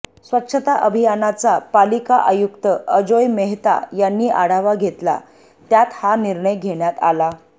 स्वच्छता अभियानाचा पालिका आयुक्त अजोय मेहता यांनी आढावा घेतला त्यात हा निर्णय घेण्यात आला